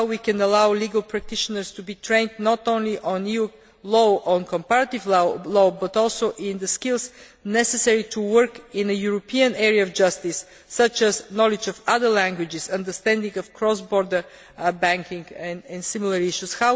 How can we allow legal practitioners to be trained not only in EU law or comparative law, but also in the skills necessary to work in a European area of justice, such as knowledge of other languages, understanding of cross border banking and similar issues?